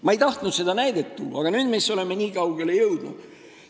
Ma ei tahtnud seda näidet tuua, aga nüüd me oleme juba nii kaugele jõudnud.